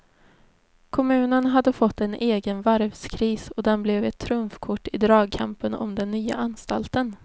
Kommunen hade fått en egen varvskris och den blev ett trumfkort i dragkampen om den nya anstalten.